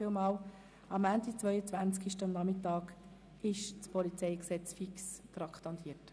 Für den Montagnachmittag, 22. 01. 2018, ist das PolG fix traktandiert.